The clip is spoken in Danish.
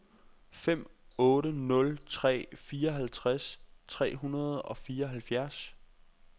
fem otte nul tre fireoghalvtreds tre hundrede og fireoghalvfjerds